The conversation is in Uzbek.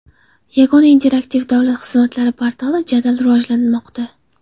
Yagona interaktiv davlat xizmatlari portali jadal rivojlanmoqda.